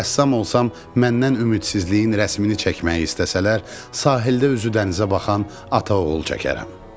Rəssam olsam məndən ümidsizliyin rəsmini çəkməyi istəsələr, sahildə üzü dənizə baxan ata-oğul çəkərəm.